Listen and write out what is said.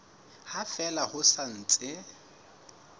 ha fela ho sa ntse